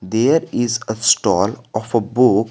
There is a stall of a book.